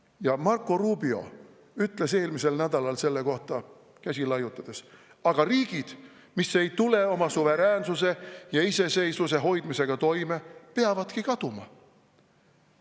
Ja Marco Rubio ütles eelmisel nädalal selle kohta käsi laiutades: "Aga riigid, mis ei tule oma suveräänsuse ja iseseisvuse hoidmisega toime, peavadki kaduma.